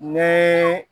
Ni